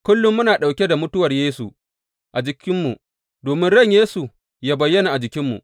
Kullum muna ɗauke da mutuwar Yesu a jikinmu, domin ran Yesu yă bayyana a jikinmu.